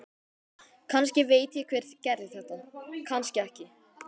Kannski veit ég hver gerði þetta, kannski ekki.